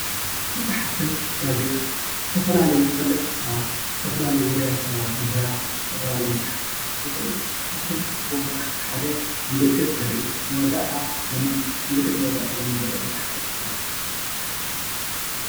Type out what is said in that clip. መፃሓፍትን ጋዜጣነ ዝተፋላለዩ ተፈለጥቲ ሰባት ዝተፈላለዩ ዉርያት ሰባት ምሁራት ዝተፈላለዩ መፃሓፍቲ ክፅሕፉ ይክእሉ እዮሞ፡፡ ካብቶሞ ዝፅሕፉዎ መፃሓፍቲ ሓደ ምልክት ዝርኢ ምልክት መዋዳእታ ዘመነ ዘርኢ ክፅሕፉ እዩ።